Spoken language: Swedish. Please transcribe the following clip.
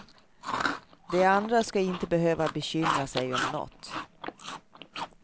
De andra ska inte behöva bekymra sig om något.